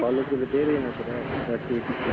College ಅಲ್ಲ್ ಬೇರೆ ಏನ್ ಇದಿರಾ? activities ಇದ್ರಲ್ಲಿ?